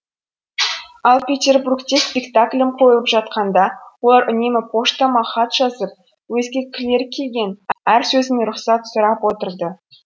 ал петербургте спектаклім қойылып жатқанда олар үнемі поштама хат жазып өзгерткілері келген әр сөзіме рұқсат сұрап отырды